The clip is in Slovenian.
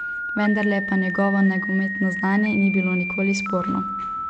Vendarle pa njegovo nogometno znanje ni bilo nikoli sporno.